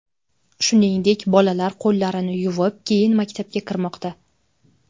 Shuningdek, bolalar qo‘llarini yuvib, keyin maktabga kirmoqda.